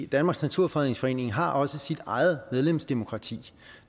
danmarks naturfredningsforening har også sit eget medlemsdemokrati